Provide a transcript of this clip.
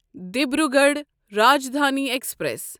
Dibrugarh Rajdhani express